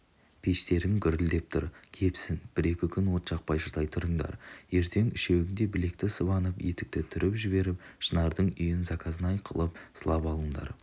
пештерің гүрілдеп тұр кепсін бір-екі күн от жақпай шыдай тұрыңдар ертең үшеуің де білекті сыбанып етекті түріп жіберіп шынардың үйін заказнай қылып сылап алыңдар